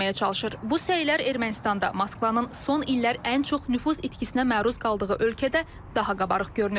Bu səylər Ermənistanda Moskvanın son illər ən çox nüfuz itkisinə məruz qaldığı ölkədə daha qabarıq görünür.